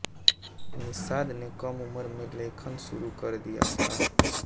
निशात ने कम उम्र में लेखन शुरू कर दिया था